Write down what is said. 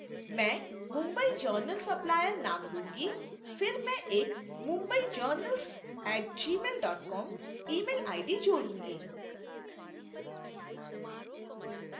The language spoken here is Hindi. मैं mumbai journal supplier name दूंगी फिर मैं एक mumbaijournals @gmail com email ID जोड़ूंगी